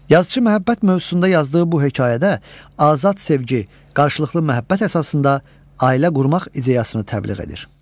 Yazıçı məhəbbət mövzusunda yazdığı bu hekayədə azad sevgi, qarşılıqlı məhəbbət əsasında ailə qurmaq ideyasını təbliğ edir.